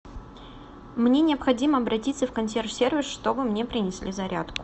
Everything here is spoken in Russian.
мне необходимо обратиться в консьерж сервис чтобы мне принесли зарядку